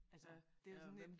Altså det jo sådan lidt